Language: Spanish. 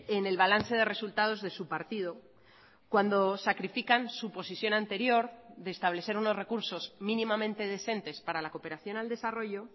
en el balance de resultados de su partido cuando sacrifican su posición anterior de establecer unos recursos mínimamente decentes para la cooperación al desarrollo